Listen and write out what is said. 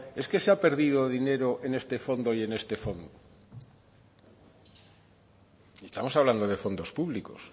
es que se ha perdido dinero en este fondo y en este fondo estamos hablando de fondos públicos